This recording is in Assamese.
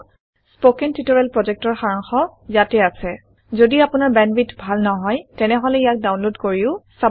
কথন শিক্ষণ প্ৰকল্পৰ সাৰাংশ ইয়াত আছে যদি আপোনাৰ বেন্দৱিথ ভাল নহয় তেনেহলে ইয়াক ডাউনলোড কৰি চাব পাৰে